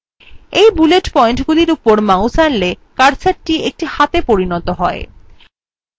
when bullet পয়েন্টগুলির উপর mouse আনলে cursorthe একটি হাতে পরিনত হয়